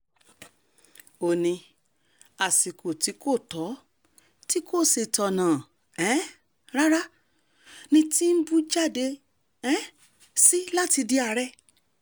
ó ní àsìkò tí kò tọ́ tí kò sì tọ̀nà um rárá ni tìǹbù jáde um sí láti di ààrẹ